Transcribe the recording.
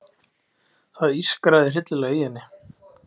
Með jöfnu bili klippti þorp á þjóðveginn og smá reyttist úr farþegahópnum.